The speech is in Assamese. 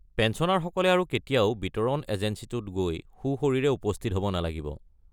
পেঞ্চনাৰসকলে আৰু কেতিয়াও বিতৰণ এজেঞ্চীটোত গৈ সোঁশৰীৰে উপস্থিত হ'ব নালাগিব।